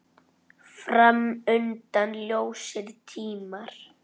Fram undan ljósir tímar.